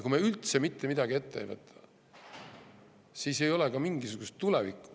Kui me üldse mitte midagi ette ei võta, siis ei ole ka mingisugust tulevikku.